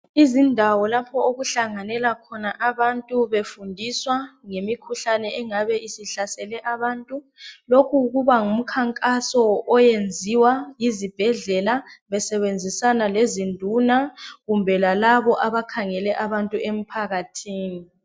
Izindawo lapho okuhlanganela khona abantu befundiswa ngemikhuhlane engabe isihlasele abantu lokhu kuba ngumkhankaso owenziwa yizibhedlela besebenzisana lezinduna kumbe lalabo abakhangele abantu emphakathini.